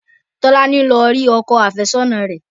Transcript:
Tolani lọ rí ọkọ àfẹ́sọ́nà rẹ̀